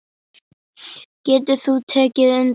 Getur þú tekið undir það?